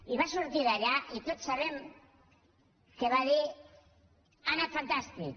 i va sortir d’allà i tots sabem que va dir ha anat fantàstic